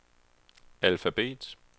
alfabet